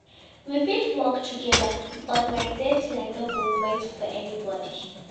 We fit work togeda but my deadline no go wait for anybodi.